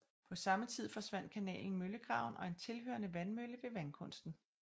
På samme tid forsvandt kanalen Møllegraven og en tilhørende vandmølle ved Vandkunsten